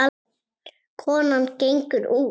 Konan gengur út.